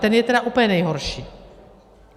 Ten je tedy úplně nejhorší.